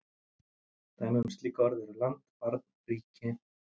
Dæmi um slík orð eru land, barn, ríki.